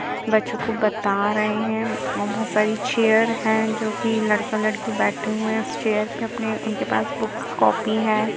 बच्चों को बता रहे हैं और बोहोत सारी चेयर हैं जो कि लड़का-लड़की बैठे हुए हैं उस चेयर पे अपनी उनके पास बुक्स कॉपी हैं।